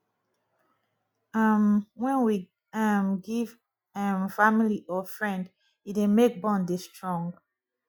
um when we um give um family or friend e dey make bond dey strong